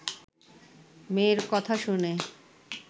মেয়ের কথা শুনে